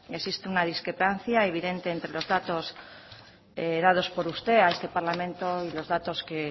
existe una discrepancia evidente entre los datos datos por usted a este parlamento y los datos que